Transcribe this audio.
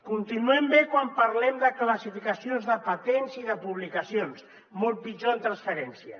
continuem bé quan parlem de classificacions de patents i de publicacions molt pitjor en transferència